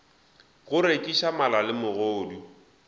go rekiša mala le megodu